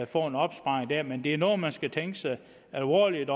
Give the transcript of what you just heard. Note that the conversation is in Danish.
få en opsparing der men det er noget man skal tænke alvorligt